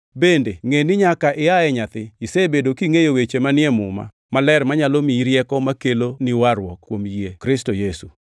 bende ngʼe ni nyaka ia e nyathi isebedo kingʼeyo weche manie Muma Maler manyalo miyi rieko makeloni warruok kuom yie Kristo Yesu.